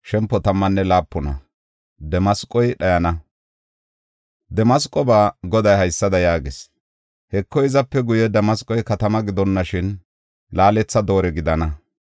Damasqoba Goday haysada yaagees: “Heko, hizape guye Damasqoy katama gidonnoshin, laaletha doore gidana.